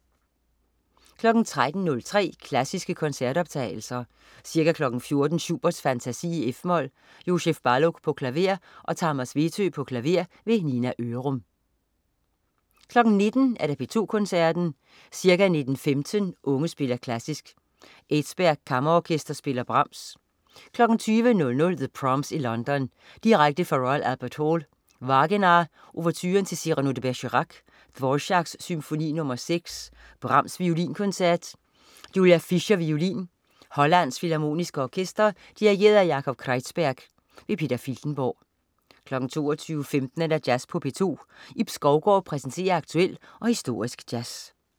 13.03 Klassiske koncertoptagelser. Ca. 14.00 Schubert: Fantasi, f-mol. Jozsef Balog, klaver. Tamas Vetö, klaver. Nina Ørum 19.00 P2 Koncerten. Ca. 19.15 Unge spiller Klassisk. Edsberg Kammerorkester spiller Brahms. 20.00 The Proms i London. Direkte fra Royal Albert Hall. Wagenaar: Ouverturen til Cyrano de Bergerac. Dvorák: Symfoni nr. 6. Brahms: Violinkoncert. Julia Fischer, violin. Hollands Filharmoniske Orkester. Dirigent: Yakov Kreizberg. Peter Filtenborg 22.15 Jazz på P2. Ib Skovgaard præsenterer aktuel og historisk jazz